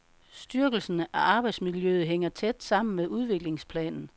Styrkelsen af arbejdsmiljøet hænger tæt sammen med udviklingsplanen.